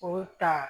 O ta